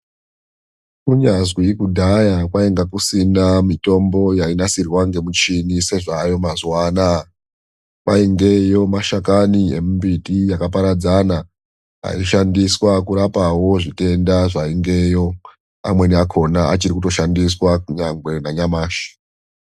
Kunyazi kudhaya kwangakusina mitombo yainasirwa ngemichini sezvayo mazuva anaya. Kwaingeyo mashakani emumbiti yakaparadzana aishandiswa kurapavo zvitenda zvaingeyo, amweni akona achirikutoshandiswa nanyamashi.